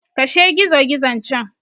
Kashe gizogizon can!